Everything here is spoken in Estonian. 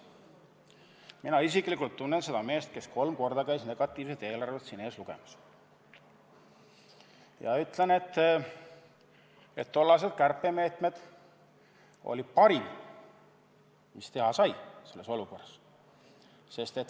Mina isiklikult tunnen seda meest, kes käis kolm korda siin ees negatiivset eelarvet ette lugemas, ja ma ütlen, et tollased kärpemeetmed olid parim, mis sai selles olukorras teha.